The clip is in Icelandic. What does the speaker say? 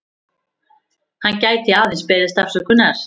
Hann gæti aðeins beðist afsökunar